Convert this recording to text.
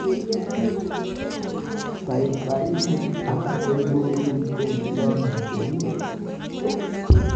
paipainik ak rirutik che kiame che uu